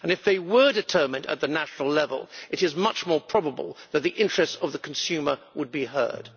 If they were determined at national level, it is much more probable that the interest of the consumer would be heeded.